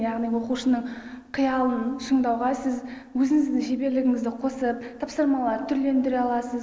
яғни оқушының қиялын шыңдауға сіз өзіңіздің шеберлігіңізді қосып тапсырмаларды түрлендіре аласыз